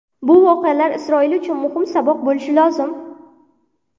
Bu voqealar Isroil uchun muhim saboq bo‘lishi lozim.